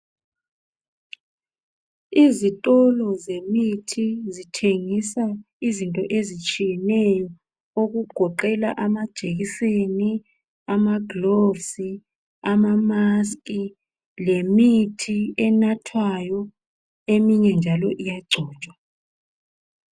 Izitolo zemithi ezithengisa izinto ezitshiyeneyo okugoqela amajekiseni amagilovisi izifonyo lemithi enathwayo eminye njalo iyagcotshwa.